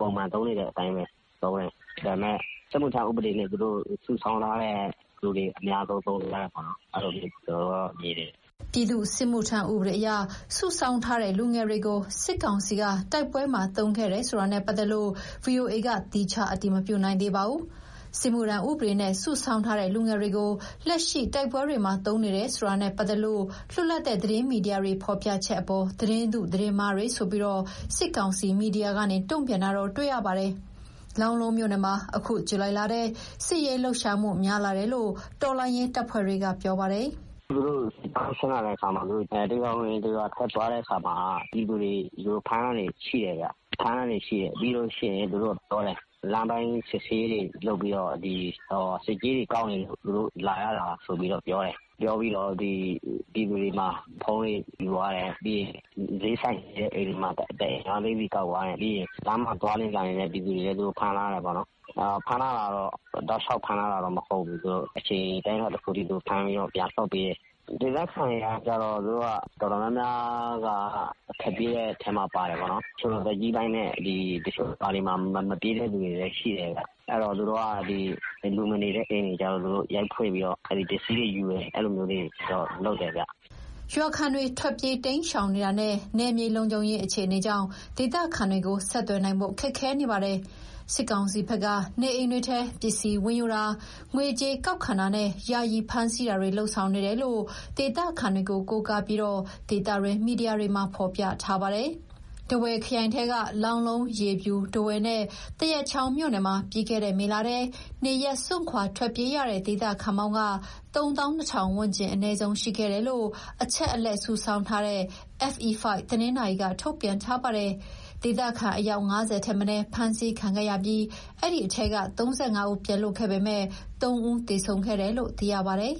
ပုံမှန်သုံးနေတဲ့အတိုင်းပဲ သုံးတယ်။ ဒါပေမဲ့ စစ်မှုထမ်းဥပဒေနဲ့ သူတို့စုဆောင်းထားတဲ့ လူတွေကို အများဆုံးသုံးနေကြတာ ကျနော်တို့မြင်တယ်။" ပြည်သူ့စစ်မှုထမ်းဥပဒေအရ စုဆောင်းထားတဲ့ လူငယ်တွေကို စစ်ကောင်စီက တိုက်ပွဲမှာ သုံးခဲ့တယ်ဆိုတာနဲ့ပတ်သက်လို့ ဗွီအိုအေက သီးခြားအတည်မပြုနိုင်သေးပါဘူး။ စစ်မှုထမ်းဥပဒေနဲ့ စုဆောင်းထားတဲ့ လူငယ်တွေကို လက်ရှိတိုက်ပွဲတွေမှာ သုံးနေတယ်ဆိုတာနဲ့ပတ်သက်လို့ လွတ်လပ်တဲ့ သတင်းမီဒီယာတွေ ဖော်ပြချက်အပေါ် သတင်းတု သတင်းမှားတွေဆိုပြီး စစ်ကောင်စီမီဒီယာကနေ တုံ့ပြန်တာတော့ တွေ့ရပါတယ်။ လောင်းလုံးမြို့နယ်မှာ အခုဇူလိုင်လထဲ စစ်ရေးလှုပ်ရှားမှု များလာတယ်လို့ တော်လှန်ရေးတပ်ဖွဲ့တွေက ပြောပါတယ်။ "သူတို့စစ်ကြောင်း ဆင်းလာတဲ့အခါမှာ တရွာဝင်တရွာထွက်ရင်း ပြည်သူတွေကို ဖမ်းတာရှိတယ်ဗျ။ သူတို့က ဘာပြောလဲဆိုတော့ လမ်းပိုင်းစစ်ဆေးရေးတွေလုပ်ပြီး ဆက်ကြေးတွေကောက်နေလို့ သူတို့လာရတာလို့ပြောတယ်။ ပြီးတော့ ပြည်သူတွေဆီက ဖုန်းတွေယူသွားတယ်။ စျေးဆိုင်ရှိတဲ့ အိမ်တွေမှာ ၅ သိန်းစီ ကောက်သွားတယ်။ လမ်းမှာသွားလာနေတဲ့ ပြည်သူတွေကို ဖမ်းသွားတယ်။ တောက်လျှောက်ဖမ်းထားတာတော့ မဟုတ်ဘူး။ အချိန်အတိုင်းအတာတခုအထိ ဖမ်းထားပြီးတော့ ပြန်လွှတ်ပေးတယ်။ ဒေသခံတော်တော်များများက ထွက်ပြေးကြတယ်။ အသက်ကြီးပိုင်းနဲ့ မပြေးတဲ့သူတချို့လည်းရှိတယ်။ အဲတော့ လူမနေတဲ့အိမ်တွေကျ သူတို့ရိုက်ဖွင့်ပြီးတော့ ပစ္စည်းတွေယူတယ်။ အဲလိုမျိုးတွေတော့ လုပ်တယ်ဗျ။" ရွာခံတွေ ထွက်ပြေးတိမ်းရှောင်နေတာနဲ့ နယ်မြေလုံခြုံရေး အခြေအနေကြောင့် ဒေသခံတွေကိုဆက်သွယ်နိုင်ဖို့ ခက်ခဲနေပါတယ်။ စစ်ကောင်စီဘက်က နေအိမ်တွေထဲ ပစ္စည်းဝင်ယူတာ၊ ငွေကြေးကောက်ခံတာနဲ့ ယာယီဖမ်းဆီးတာတွေ လုပ်ဆောင်နေတယ်လို့ ဒေသခံတွေကို ကိုးကားပြီး ဒေသတွင်းမီဒီယာတွေမှာ ဖော်ပြထားပါတယ်။ ထားဝယ်ခရိုင်ထဲက လောင်းလုံး၊ ရေဖြူ၊ ထားဝယ်နဲ့ သရက်ချောင်းမြို့နယ်မှာ ပြီးခဲ့တဲ့ မေလထဲ နေရပ်စွန့်ထွက်ပြေးရတဲ့ ဒေသခံပေါင်း ၃၂,၀၀၀ ဝန်းကျင် အနည်းဆုံးရှိခဲ့တယ်လို့ အချက်အလက်စုဆောင်းထားတဲ့ FE5 တနင်္သာရီက ထုတ်ပြန်ထားပါတယ်။ ဒေသခံအယောက် ၅၀ ထက်မနည်း ဖမ်းဆီးခံခဲ့ရပြီး အဲဒီထဲက ၃၅ ဦး ပြန်လွတ်ခဲ့ပေမယ့် ၃ ဦးသေဆုံးခဲ့တယ်လို့ သိရပါတယ်